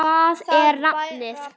Hvað er nafnið?